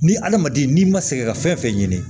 Ni hadamaden n'i ma sɛgɛn ka fɛn fɛn ɲini